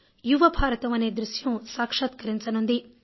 యువ భారతం అనే దృశ్యం సాక్షాత్కరించనున్నది